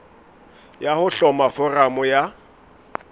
ya ho hloma foramo ya